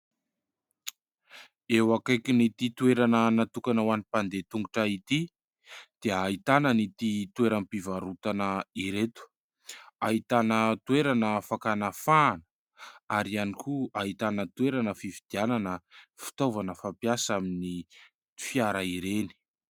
Eo akaikin'ity toerana natokana ho any mpandeha tongotra ity dia ahitana an'ity toeram-pivarotana ireto. Ahitana toerana fakana fahana ary ihany koa ahitana toerana fividianana fitaovana fampiasa amin'ny fiara ireny.